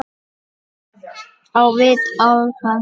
Á vit álfa